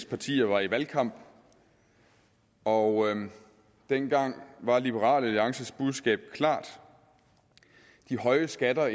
partier var i valgkamp og dengang var liberal alliances budskab klart at de høje skatter